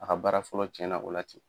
A ka baara fɔlɔ cɛna o la ten